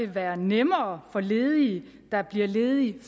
være nemmere for ledige der bliver ledige